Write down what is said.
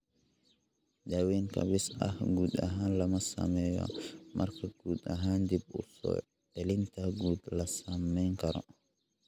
Daaweyn kaabis ah guud ahaan lama sameeyo marka guud ahaan dib-u-soo-celinta guud la samayn karo.